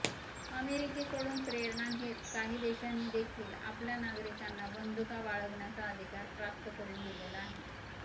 अमेरिकेकडून प्रेरणा घेत काही देशांनी देखील आपल्या नागरिकांना बंदुका बाळगण्याचा अधिकार प्राप्त करून दिलेला आहे